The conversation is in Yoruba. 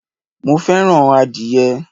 mo fẹràn adìye